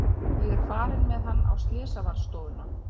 Ég er farin með hann á slysavarðstofuna.